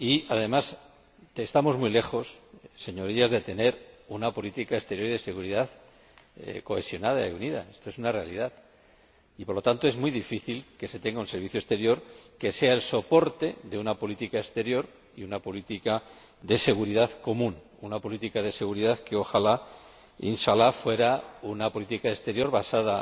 Además, estamos muy lejos, Señorías, de tener una política exterior y de seguridad cohesionada y unida esto es una realidad y, por lo tanto, es muy difícil tener un servicio exterior que sea el soporte de una política exterior y de una política de seguridad común, una política de seguridad que, ojalá, insha'Allah fuera una política exterior basada